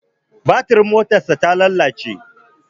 Batirin motarsa ta lalace.